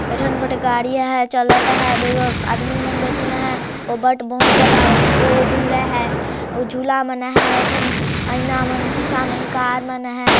ऐठन ग गाड़िया है चालत है दुगो आदमी मन बैठीन है ओ बट बहुत ज्यादा ओ भीड़ है अऊ झूला मन है ऐठन आईना मन सीठा मन कार मन हैं।